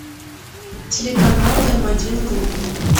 телеканал м один глобал